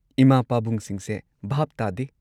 ꯏꯃꯥ ꯄꯥꯕꯨꯡꯁꯤꯡꯁꯦ ꯚꯥꯞ ꯇꯥꯗꯦ꯫